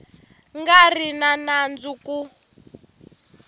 nga ri na nandzu ku